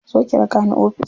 Zo ki raka ni ofis.